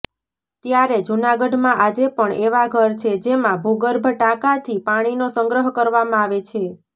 ત્યારે જૂનાગઢમાં આજે પણ એવા ઘર છે જેમાં ભૂગર્ભ ટાંકાથી પાણીનો સંગ્રહ કરવામાં આવે છે